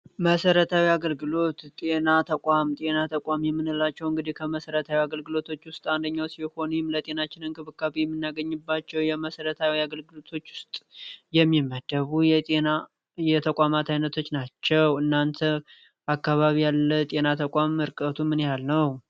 መሰረታዊ የአገልግሎት ጤና ተቋም ጤና ተቋም የምንላቸው እንግዲህ ከመሰረታዊ አገልግሎቶች ውስጥ አንደኞ ሲሆን ይህም ለጤናችን እንክብካቤባ መሰረታዊ የአገልግሎቶች ውስጥ የሚመደቡ የጤና እየተቋማት አይነቶች ናቸው። እናንተ በአካባቢ ያለ ጤና ተቋም ርቀቱ ምን ያህል ነው?